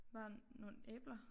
Der nogle æbler